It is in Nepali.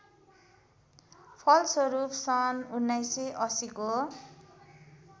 फलस्वरूप सन् १९८० को